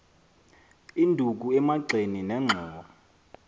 induku emagxeni nenxhowa